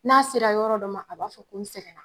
N'a sera yɔrɔ dɔ ma a b'a fɔ ko n sɛgɛn na